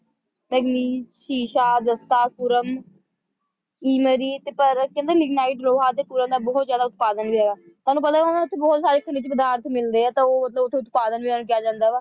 ਮੈਗਨੀਸ਼ ਸ਼ੀਸ਼ਾ ਜ਼ਿਸਤਾ ਸੁਰਮ ਇਮਰੀਤ ਪਰ ਕਹਿੰਦੇ ਲਿਗਨਾਈਟ ਲੋਹਾ ਤੇ ਕੋਲਾ ਦਾ ਬਹੁਤ ਜਿਆਦਾ ਉਤਪਾਦਨ ਵੀ ਹੈਗਾ ਤੁਹਾਨੂੰ ਪਤਾ ਤਾਂ ਹੋਣਾ ਉੱਥੇ ਬਹੁਤ ਸਾਰੇ ਖਣਿਜ ਪਦਾਰਥ ਮਿਲਦੇ ਹੈ ਤਾਂ ਉਹ ਮਤਲਬ ਉਥੇ ਉਤਪਾਦਨ ਵਿੱਚ ਇਹਨੂੰ ਕਿਹਾ ਜਾਂਦਾ ਵਾ